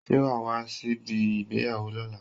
Ṣé wa a wá sí ibi ìgbéyàwó lóla?